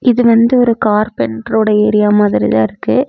இது வந்து ஒரு கார்பென்டரோட ஏரியா மாதிரிதா இருக்கு.